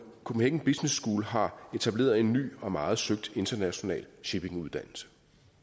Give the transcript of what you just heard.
copenhagen business school har etableret en ny og meget søgt internationalt shippinguddannelse